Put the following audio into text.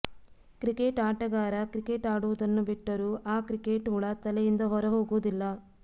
cricket ಆಟಗಾರ cricket ಆಡುವುದನ್ನು ಬಿಟ್ಟರೂ ಆ ಕ್ರಿಕೆಟ್ ಹುಳ ತಲೆಯಿಂದ ಹೊರಹೋಗುವುದಿಲ್ಲ